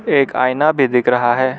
एक आईना भी दिख रहा है।